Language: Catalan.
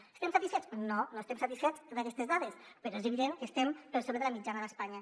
n’estem satisfets no no estem satisfets d’aquestes dades però és evident que estem per sobre de la mitjana d’espanya